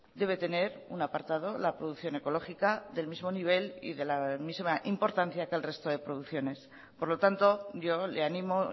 debe tener un apartado la producción ecológica del mismo nivel y de la misma importancia que el resto de producciones por lo tanto yo le animo